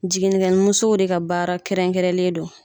Jiginikɛmuso de ka baara kɛrɛnkɛrɛnlen don